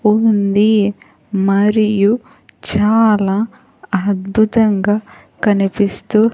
ఉంది మరియు చాలా అద్భుతంగా కనిపిస్తూ.